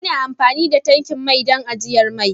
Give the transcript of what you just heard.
Ana amfani da tankin mai don ajiyar mai.